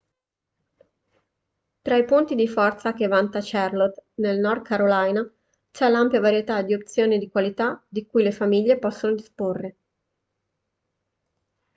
tra i punti di forza che vanta charlotte nel north carolina c'è l'ampia varietà di opzioni di qualità di cui le famiglie possono disporre